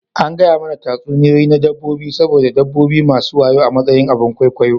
An gaya mana tatsuniyoyi na dabbobi saboda dabbobi masu wayo a matsayin abin ƙwaikwayon.